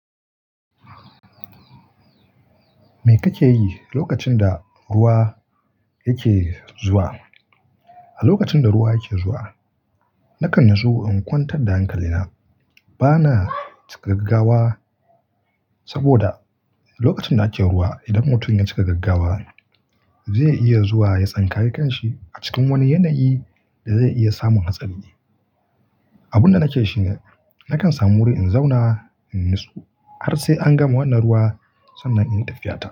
Me kake yi lokacin da ruwa yake zuwa? A lokacin da ruwa yake zuwa, na kan natsu in kwantar da hankali na. Ba na cika gaggawa saboda lokacin da ake ruwa, idan mutum ya cika gaggawa zai iya zuwa ya tsinkayi kanshi a cikin wani yanayi da zai iya samun hatsari. Abin da nake shi ne, na kan samu wuri in zauna in yi natsu har sai an gama wannan ruwa sannan in tafiya ta.